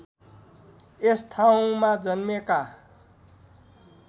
यस ठाउमा जन्मेका